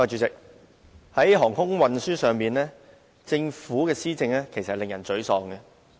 主席，在航空運輸上，政府的施政令人沮喪。